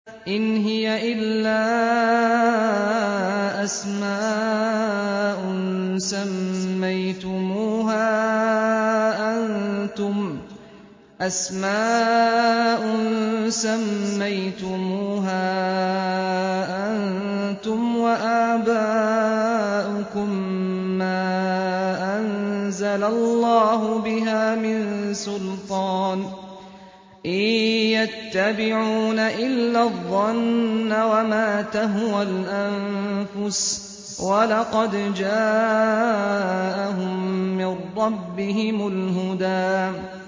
إِنْ هِيَ إِلَّا أَسْمَاءٌ سَمَّيْتُمُوهَا أَنتُمْ وَآبَاؤُكُم مَّا أَنزَلَ اللَّهُ بِهَا مِن سُلْطَانٍ ۚ إِن يَتَّبِعُونَ إِلَّا الظَّنَّ وَمَا تَهْوَى الْأَنفُسُ ۖ وَلَقَدْ جَاءَهُم مِّن رَّبِّهِمُ الْهُدَىٰ